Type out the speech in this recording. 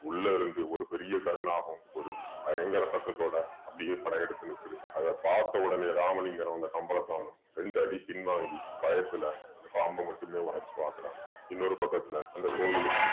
உள்ள இருந்து ஒரு பெரிய கருநாகம் ஒரு பயங்கர சத்தத்தோட அப்படியே படையெடுத்து நிக்குது அத பார்த்த உடனே ராமலிங்கரும் அந்த கம்பளத்தானும் ரெண்டு அடி பின்வாங்கி பயத்துல அந்த பாம்ப மட்டுமே உறைஞ்சு பாக்குறாங்க இன்னொரு பக்கத்துல அந்த கோயிலுக்கு